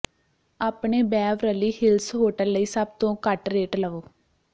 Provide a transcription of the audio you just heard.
ਆਪਣੇ Beverly Hills hotel ਲਈ ਸਭ ਤੋਂ ਘੱਟ ਰੇਟ ਲਵੋ